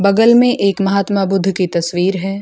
बगल में एक महात्मा बुद्ध की तस्वीर है।